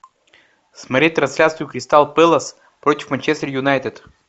смотреть трансляцию кристал пэлас против манчестер юнайтед